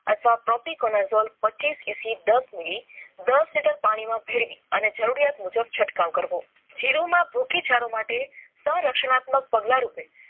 અથવા પચીસ EC દસ મીલી દસ લિટર પાણી માં ભેળવીને અને જરૂરિયાત મુજબ છટકાવ કરવો. જીરૂ માં ભૂખી જરો માટે સ રચનાત્મક પગલાં રૂપે